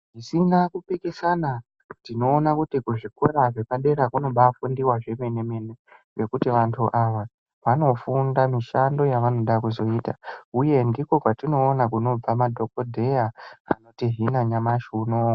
Zvisina kupikisana tinoona kuti kuzvikora zvepadera kunofundwa zvemene mene ngekuti vanhu ava vanofunda mishando yavanoda kuzoita uye ndiko kwatinoona kunobva madhokodheya anotihina nyamashi unowu.